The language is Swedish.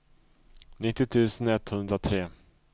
nittio tusen etthundratre